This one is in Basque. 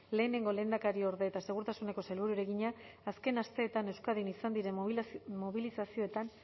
lehenengo lehendakariorde eta segurtasuneko sailburuari egina azken asteetan euskadin izan diren mobilizazioetan